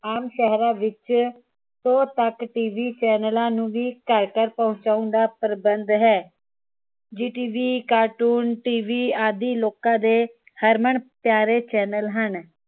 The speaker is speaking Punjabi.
ਆਮ ਸ਼ਹਿਰਾਂ ਵਿਚ ਸੋ ਤੱਕ ਟੀਵੀ ਚੈੱਨਲਾਂ ਨੂੰ ਵੀ ਘਰ ਘਰ ਪਹੁੰਚਾਉਣ ਦਾ ਪ੍ਰਬੰਧ ਹੈ। ਜੀ ਟੀਵੀ, ਕਾਰਟੂਨ ਟੀਵੀ ਆਦਿ ਲੋਕਾਂ ਦੇ ਹਰਮਨ ਪਿਆਰੇ ਚੈਨਲ ਹਨ।